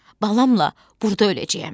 Balamla burda öləcəyəm.